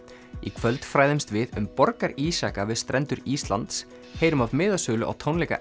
í kvöld fræðumst við um borgarísjaka við strendur Íslands heyrum af miðasölu á tónleika